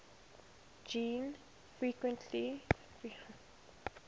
gene frequency indirectly